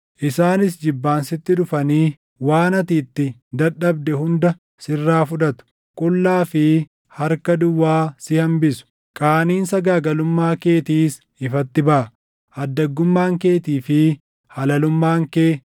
Isaanis jibbaan sitti dhufanii waan ati itti dadhabde hunda sirraa fudhatu. Qullaa fi harka duwwaa si hambisu; qaaniin sagaagalummaa keetiis ifatti baʼa. Addaggummaan keetii fi halalummaan kee,